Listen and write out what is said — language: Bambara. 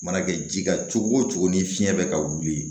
Mana kɛ ji la cogo o cogo ni fiɲɛ bɛ ka wuli